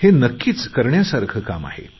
हे नक्कीच करण्यासारखे काम आहे